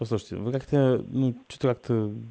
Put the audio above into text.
послушайте вы как-то ну что-то как-то